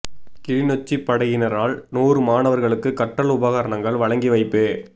கிளிநொச்சி படையினரால் நூறு மாணவா்களுக்கு கற்றல் உபகரணங்கள் வழங்கி வைப்பு